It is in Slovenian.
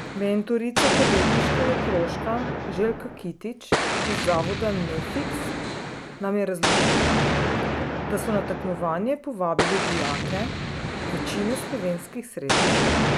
Mentorica podjetniškega krožka Željka Kitić iz Zavoda Nefiks nam je razložila, da so na tekmovanje povabili dijake večine slovenskih srednjih šol.